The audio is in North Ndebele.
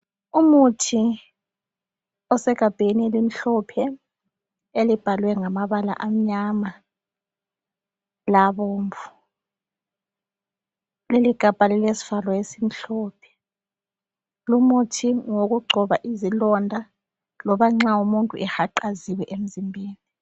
Umuthi osegabheni elimhlophe elibhalwe ngamabala amnyama labomvu leligabha lilesivalo esimhlophe. Lumuthi ngowokugcoba izilonda loba umuntu ehaqaziwe emzimbeni.